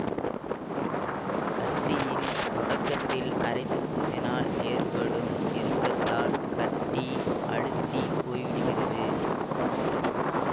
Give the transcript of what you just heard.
கட்டியின் தொடக்கத்தில் அரைத்து பூசினால் ஏற்படும் இறுக்கத்தால் கட்டி அழுத்திப் போய்விடுகிறது